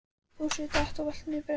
Fúsi datt og valt niður brekkuna.